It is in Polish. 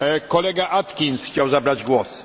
Kolega Atkins chciał zabrać głos.